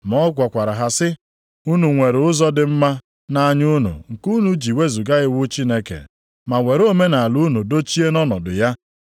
Ma ọ gwakwara ha sị, “Unu nwere ụzọ dị mma nʼanya unu nke unu ji wezuga iwu Chineke ma were omenaala unu dochie nʼọnọdụ ya.